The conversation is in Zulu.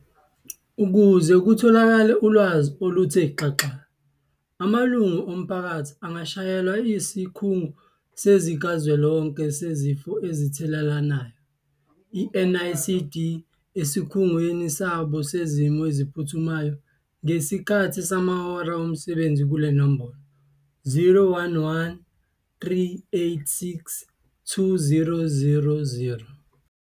Ukuze kutholakale ulwazi oluthe xaxa, amalungu omphakathi angashayela Isikhungo Sikazwelonke Sezifo Ezithelelanayo, NICD, Esikhungweni Sabo Sezimo Eziphuthumayo ngesikhathi samahora omsebenzi kule nombolo- 011 386 2000.